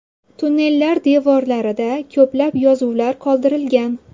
Tunnellar devorlarida ko‘plab yozuvlar qoldirilgan.